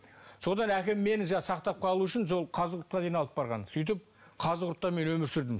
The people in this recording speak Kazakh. содан әкем мені сақтап қалу үшін қазығұртқа дейін мені алып барған сөйтіп қазығұртта мен өмір сүрдім